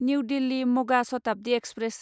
new Delhi मगा Shatabdi express